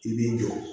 I b'i jɔ